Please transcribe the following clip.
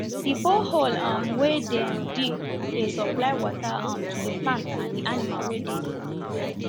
the borehole um wen dem dig dey supply water um to the plant and the animal wen dey the farm